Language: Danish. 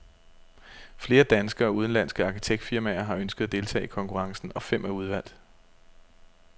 Flere danske og udenlandske arkitektfirmaer har ønsket at deltage i konkurrencen, og fem er udvalgt.